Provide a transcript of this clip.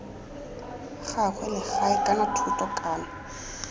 gagwe legae kana thoto kana